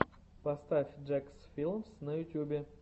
поставь джекс филмс на ютюбе